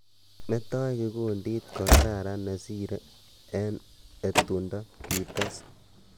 "Metoi kikundit ko kararan ne sire ing etundo." ki tes.